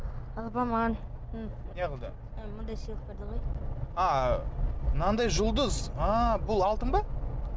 алла апа маған мынадай сыйлық берді ғой а мынандай жұлдыз ааа бұл алтын ба